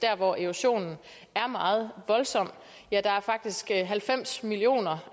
hvor erosionen er meget voldsom er der faktisk halvfems millioner